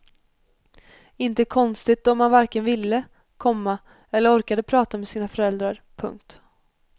Inte konstigt då att man varken ville, komma eller orkade prata med sina föräldrar. punkt